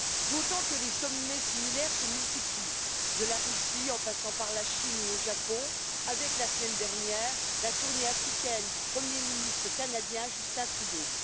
D'autant que les sommets similaires se multiplient de la Russie en passant par la Chine ou le Japon, avec, la semaine dernière la tournée africaine du premier ministre canadien Justin Trudeau.